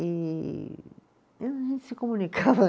E e a gente se comunicava.